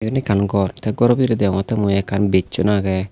eyen ekkan gor tey goro bidirey deongottey mui ekkan bisson agey.